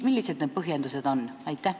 Millised on need põhjendused?